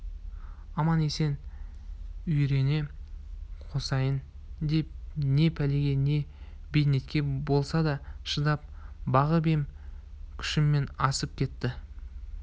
аман-есен үйіріне қосайын деп не пәлеге не бейнетке болса да шыдап бағып ем күшімнен асып кетті